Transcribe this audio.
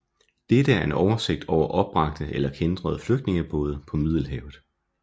Dette er en oversigt over opbragte eller kæntrede flygtningebåde på Middelhavet